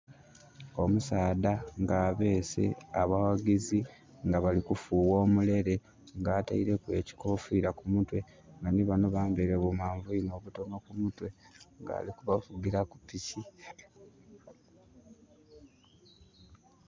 Omusaadha nga abeese abaghagizi nga bali kufugha omulele nga ateireku ekikofira ku mutwe nga nhi banho bambeire bu manviri obutonho ku mitwe nga ali kubavugira kupiki.